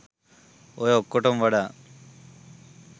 ඔය ඔක්කටම වඩා